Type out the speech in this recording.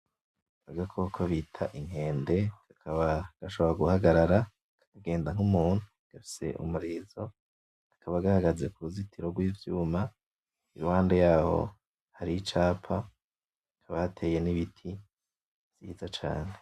Agakoko bita inkende kakaba gashobora guhagarara kakagenda nk'umuntu gafise umurizo kakaba gahagaze kuruzitiro rw'ivyuma iruhande yaho hari icapa hakaba hateye nibiti vyiza cane.